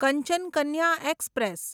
Kanchan Kanya express